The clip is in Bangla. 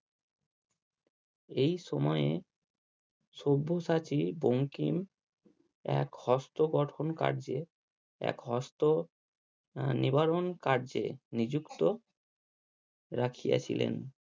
এই সময়ে সব্যসাচী বঙ্কিম এক হস্ত গঠন কার্যে, এক হস্ত আহ নিবারণ কার্যে নিযুক্ত রাখিয়া ছিলেন।